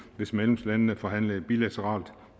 hvis medlemslandene forhandlede bilateralt